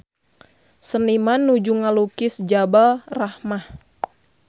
Seniman nuju ngalukis Jabal Rahmah